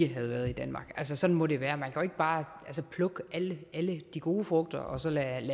havde været i danmark sådan må det være man kan ikke bare plukke alle de gode frugter og så lade alle